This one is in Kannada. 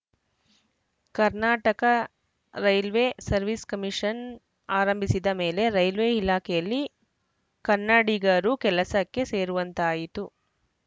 ಕರ್ನಾಟಕ ರೈಲ್ವೆ ಸರ್ವಿಸ್‌ ಕಮಿಷನ್‌ ಆರಂಭಿಸಿದ ಮೇಲೆ ರೈಲ್ವೆ ಇಲಾಖೆಯಲ್ಲಿ ಕನ್ನಡಗರು ಕೆಲಸಕ್ಕೆ ಸೇರುವಂತಾಯಿತು